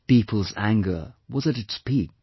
' People's anger was at its peak